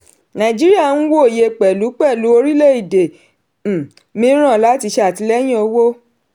nàìjíríà n wòye pẹ̀lú pẹ̀lú orílẹ̀-èdè um mìíràn láti ṣe àtìlẹ́yìn owó.